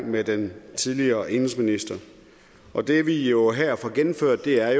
med den tidligere indenrigsminister og det vi jo her får gennemført er